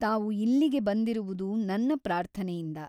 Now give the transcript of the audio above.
ತಾವು ಇಲ್ಲಿಗೆ ಬಂದಿರುವುದು ನನ್ನ ಪ್ರಾರ್ಥನೆಯಿಂದ.